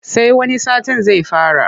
Sai wani satin zai fara.